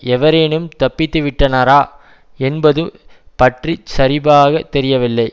எவரேனும் தப்பிவிட்டனரா என்பது பற்றி சரிபாகத் தெரியவில்லை